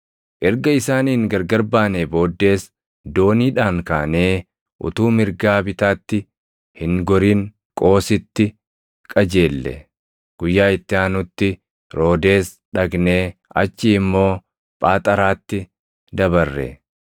Erga isaaniin gargar baanee booddees dooniidhaan kaanee utuu mirgaa bitaatti hin gorin Qoositti qajeelle. Guyyaa itti aanutti Roodees dhaqnee achii immoo Phaaxaraatti dabarre.